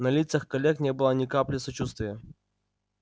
на лицах коллег не было ни капли сочувствия